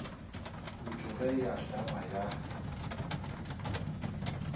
putu ge e ahlama ya